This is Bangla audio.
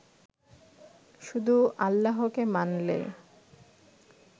শুধু আল্লাহকে মানলে